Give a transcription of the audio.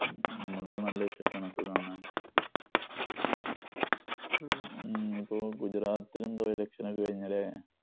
നമ്മടെ അടുത്ത് നല്ല വിശേഷമാണ് സുഖാണ്. ഇപ്പൊ ഗുജറാത്തിലും ബൈ ഇലക്ഷനൊക്കെ അല്ലേ?